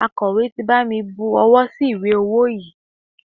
Akọ̀wé ti bami bu owó sí ìwé ọwó yìí.